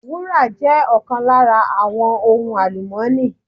Wúrà jé ọ̀kan lára àwọn ohun àlùmọ́ọ́nì